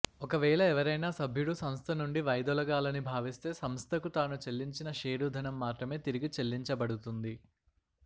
ఒకవేళ ఎవరైనా సభ్యుడు సంస్థ నుండి వైదొలగాలని భావిస్తే సంస్థకు తాను చెల్లించిన షేరుధనం మాత్రమే తిరిగి చెల్లించబడుతుంది